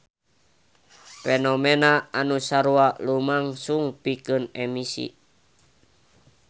Fenomena anu sarupa lumangsung pikeun emisi.